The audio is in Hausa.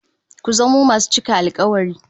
Ku zamo masu cika alkawari